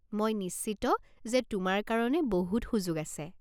মই নিশ্চিত যে তোমাৰ কাৰণে বহুত সুযোগ আছে।